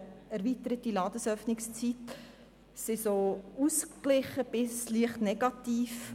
Die Vernehmlassungsantworten sind in dem Punkt eher ausgeglichen bis leicht negativ.